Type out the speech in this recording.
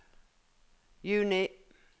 juni